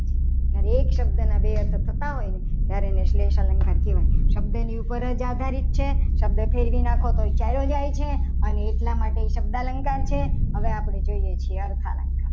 અને એક શબ્દના બે અર્થ થતા હોય ને તો ત્યારે એને શ્રેષ્ઠ અલંકાર કહેવાય. શબ્દની ઉપર જ આધારિત છે શબ્દ ફેરવી નાખો તો એ ચાલી જાય છે. અને એટલા માટે એ શબ્દાલંકાર છે. હવે આપણે જોઈએ છીએ. અર્થાલંકાર